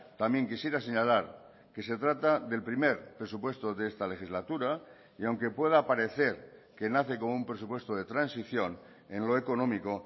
también quisiera señalar que se trata del primer presupuesto de esta legislatura y aunque pueda parecer que nace como un presupuesto de transición en lo económico